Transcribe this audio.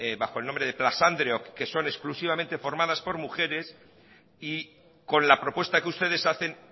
bajo el nombre de plazandreok que son exclusivamente formadas por mujeres y con la propuesta que ustedes hacen